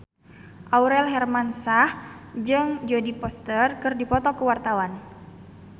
Aurel Hermansyah jeung Jodie Foster keur dipoto ku wartawan